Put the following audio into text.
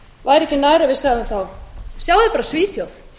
væri ekki nær að við segðum þá sjáið bara svíþjóð